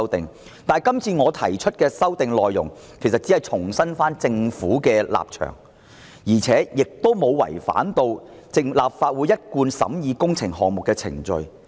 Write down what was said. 但是，我今次提出的修訂議案只是重申政府的立場，沒有違反立法會一貫審議工程項目的程序。